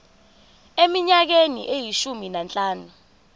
eminyakeni eyishumi nanhlanu